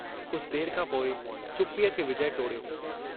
कुझु देर खां पोइ चुप्पीअ खे विजय टोड़ियो।